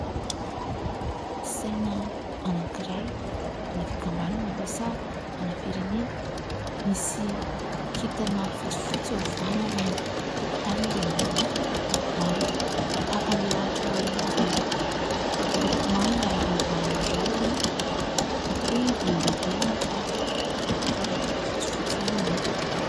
Saina anankiray an'ny fikambanana ve sa an'ny firenena. Misy kintana fotsifotsy eo afovoany ary ny tokontany dia miloko manga tahaka ilay lanitra ao aoriana izay miloko manga ravahana rahona mety hoe volondavenona fa toa fotsifotsy ihany anefa.